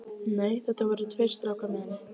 Nei, það voru tveir strákar með henni.